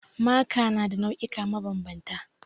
Maka na da nau'ika mabanbanta